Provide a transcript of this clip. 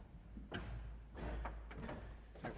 tak